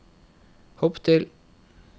hopp til